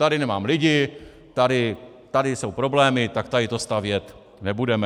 Tady nemám lidi, tady jsou problémy, tak tady to stavět nebudeme.